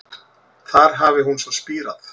Þar hafi hún svo spírað